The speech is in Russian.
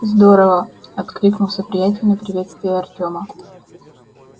здорово откликнулся приятель на приветствие артёма